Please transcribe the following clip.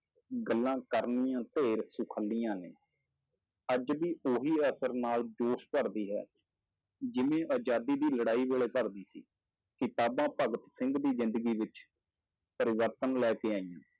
ਗੱਲਾਂ ਕਰਨੀਆਂ ਢੇਰ ਸੁਖਾਲੀਆਂ ਨੇ, ਅੱਜ ਵੀ ਉਹੀ ਅਸਰ ਨਾਲ ਜੋਸ਼ ਭਰਦੀ ਹੈ, ਜਿਵੇਂ ਆਜ਼ਾਦੀ ਦੀ ਲੜਾਈ ਵੇਲੇ ਭਰਦੀ ਸੀ, ਕਿਤਾਬਾਂ ਭਗਤ ਸਿੰਘ ਦੀ ਜ਼ਿੰਦਗੀ ਵਿੱਚ ਪਰਿਵਰਤਨ ਲੈ ਕੇ ਆਈਆਂ,